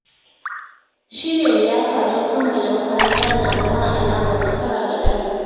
Shirya liyafa don kammala makaranta na zama alamar nasara ga ɗalibi.